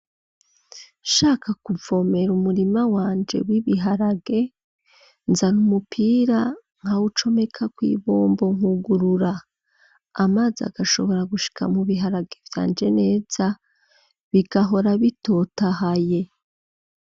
Nshaka kuvomera umurima wanje, w'ibiharage nzana umupira nkawucomeka kw'ibombo nkugurura, amazi agashobora gushika mu biharage byanje neza bigahora bitotahaye